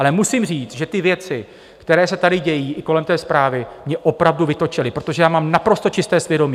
Ale musím říct, že ty věci, které se tady dějí i kolem té zprávy, mě opravdu vytočily, protože já mám naprosto čisté svědomí.